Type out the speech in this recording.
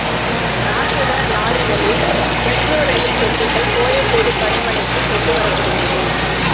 ராட்சத லாரிகளில் மெட்ரோ ரயில் பெட்டிகள் கோயம்பேடு பணிமனைக்கு கொண்டு வரப்படுகிறது